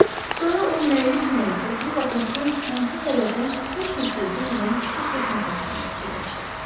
Sonra o məyus-məyus oturub atasının hansı səbəbdən heç bir söz demədən çıxıb getməsi haqqında fikirləşdi.